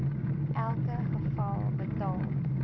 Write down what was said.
elke geval betaal